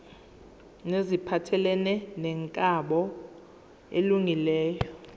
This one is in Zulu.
neziphathelene nenkambo elungileyo